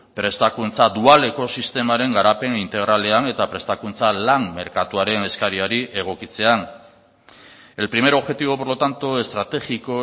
prestakuntza dualeko sistemaren garapen integralean eta prestakuntza lan merkatuaren eskariari egokitzean el primer objetivo por lo tanto estratégico